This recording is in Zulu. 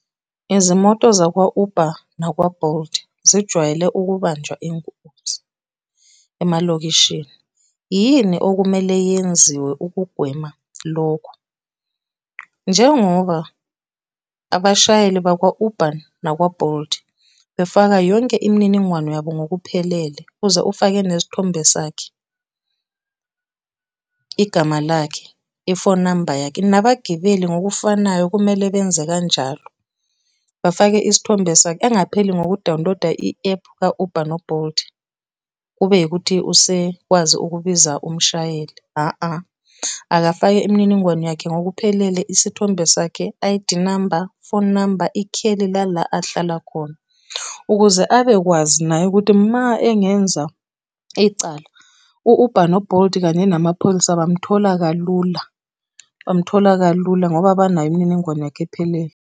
Izimoto zakwa-Uber nakwa-Bolt zijwayele ukubanjwa inkunzi emalokishini. Yini okumele yenziwa ukugwema lokhu? Njengoba abashayeli bakwa-Uber nakwa-Bolt befaka yonke imininingwane yabo ngokuphelele, uze ufake nesithombe sakhe, igama lakhe, ifoni namba yakhe nabagibeli ngokufanayo kumele benze kanjalo. Bafake isithombe sakhe engapheli ngokudawuniloda i-ephu ka-Uber no-Bolt, kube ukuthi usekwazi ukubiza umshayeli . Akafake imininingwane yakhe ngokuphelele isithombe sakhe, I_D number, phone number, ikheli lala ahlala khona. Ukuze abekwazi naye ukuthi ma engenza icala, u-Uber no-Bolt, kanye namapholisa, bamthola kalula, bamthola kalula ngoba banayo imininingwane yakhe ephelele.